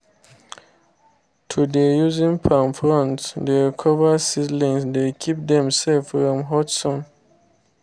to dey using palm fronds dey cover seedlings dey keep dem safe from hot sun